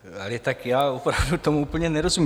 Ale tak já opravdu tomu úplně nerozumím.